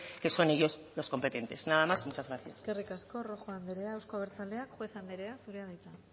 que son ellos los competentes nada más muchas gracias eskerrik asko rojo anderea euzko abertzaleak juez anderea zurea da hitza